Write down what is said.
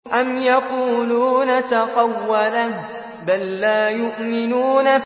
أَمْ يَقُولُونَ تَقَوَّلَهُ ۚ بَل لَّا يُؤْمِنُونَ